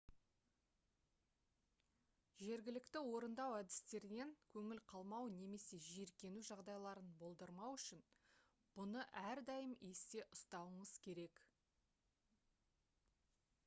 жергілікті орындау әдістерінен көңіл қалмау немесе жиіркену жағдайларын болдырмау үшін бұны әрдайым есте ұстауыңыз керек